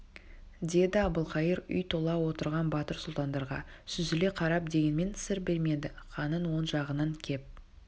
деді әбілқайыр үй тола отырған батыр сұлтандарға сүзіле қарап дегенмен сыр бермеді ханның оң жағынан кеп